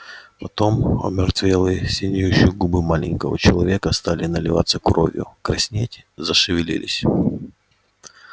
потом омертвелые синеющие губы маленького человека стали наливаться кровью краснеть зашевелились